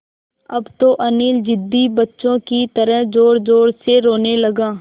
अब तो अनिल ज़िद्दी बच्चों की तरह ज़ोरज़ोर से रोने लगा